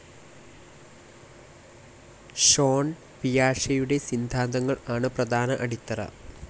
Sean പിയാഷെയുടെ സിദ്ധാന്തങ്ങൾ ആണ് പ്രധാന അടിത്തറ.